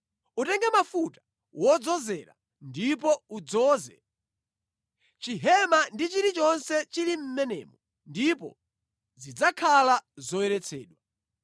“Utenge mafuta wodzozera ndipo udzoze chihema ndi chilichonse chili mʼmenemo ndipo zidzakhala zoyeretsedwa.